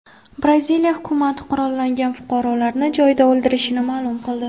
Braziliya hukumati qurollangan fuqarolarni joyida o‘ldirilishini ma’lum qildi.